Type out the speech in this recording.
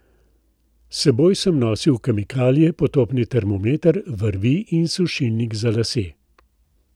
S seboj sem nosil kemikalije, potopni termometer, vrvi in sušilnik za lase.